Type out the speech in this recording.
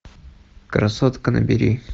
красотка набери